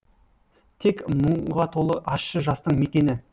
тек мұңға толы ащы жастың мекені